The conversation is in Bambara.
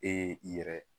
E ye i yɛrɛ ye